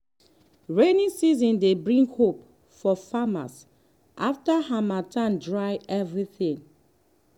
rainy season dey bring hope for farmers after harmattan dry everything.